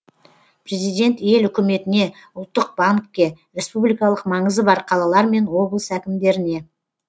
президент ел үкіметіне ұлттық банкке республикалық маңызы бар қалалар мен облыс әкімдеріне